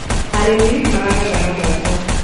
arĩmi maragetha na moko